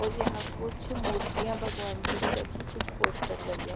और यहाँ कुछ मुर्तिया भगवान कि भी रखी कुछ पोस्टर लगे--